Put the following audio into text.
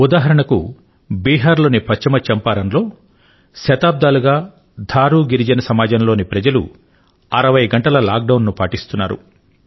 ఉదాహరణకు తీసుకొంటే బిహార్ లోని పశ్చిమ చంపారణ్ లో థారూ ఆదివాసీ సమాజం లోని ప్రజలు శతాబ్దాలుగా 60 గంటల లాక్ డౌన్ ను పాటిస్తున్నారు